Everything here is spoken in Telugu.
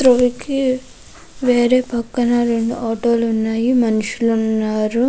రోడ్ కి వేరే పక్కన కి వేరే పక్కన రెండు ఆటో లు ఉన్నాయి మనషులు ఉనారు.